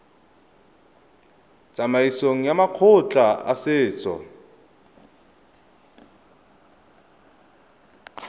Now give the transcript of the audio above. tsamaisong ya makgotla a setso